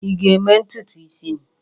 Ị ga-eme ntutu isi m?